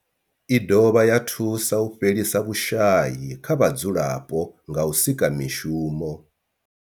I dovha ya thusa u fhelisa vhushayi kha vhadzulapo nga u sika mishumo.